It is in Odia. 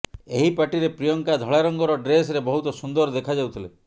ଏହି ପାର୍ଟିରେ ପ୍ରିୟଙ୍କା ଧଳା ରଙ୍ଗର ଡ୍ରେସରେ ବହୁତ ସୁନ୍ଦର ଦେଖାଯାଉଥିଲେ